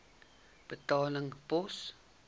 betaling pos